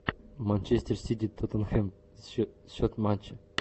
манчестер сити тоттенхэм счет матча